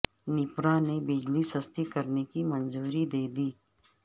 نیپرا نے بجلی سستی کرنے کی منظوری د ے دی